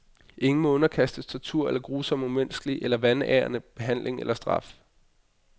Ingen må underkastes tortur eller grusom umenneskelig eller vanærende behandling eller straf.